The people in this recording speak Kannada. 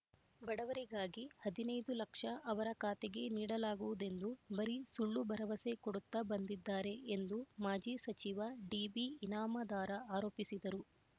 ಬಡವರಿಗಾಗಿ ಹದಿನೈದು ಲಕ್ಷ ಅವರ ಖಾತೆಗೆ ನೀಡಲಾಗುವುದೆಂದು ಬರಿ ಸುಳ್ಳು ಭರವಸೆ ಕೊಡುತ್ತಾ ಬಂದಿದ್ದಾರೆ ಎಂದು ಮಾಜಿ ಸಚಿವ ಡಿಬಿ ಇನಾಮದಾರ ಆರೋಪಿಸಿದರು